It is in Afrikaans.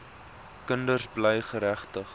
kinders bly geregtig